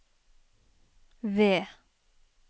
V